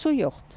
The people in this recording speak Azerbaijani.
Su yoxdur.